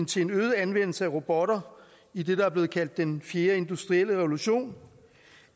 til en øget anvendelse af robotter i det der er blevet kaldt den fjerde industrielle revolution